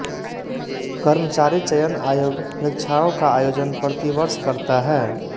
कर्मचारी चयन आयोग परीक्षाओं का आयोजन प्रति वर्ष करता है